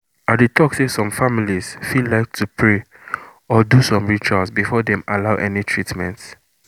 i dey talk say some families fit like to pray or do some rituals before dem allow any treatment.